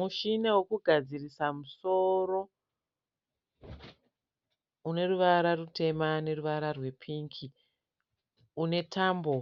Mushina wokugadzirisa musoro une ruvara rutema neruvara rwepingi, une tambo